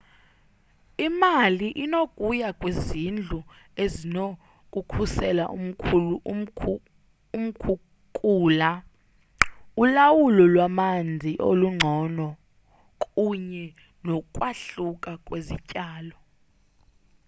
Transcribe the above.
imali inokuya kwizindlu ezinokukhusela umkhukula ulawulo lwamanzi olungcono kunye nokwahluka kwezityalo